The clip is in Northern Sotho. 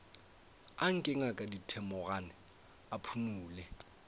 anke ngaka thedimogane a phumole